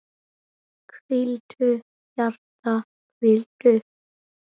Hvíldu, hjarta, hvíldu.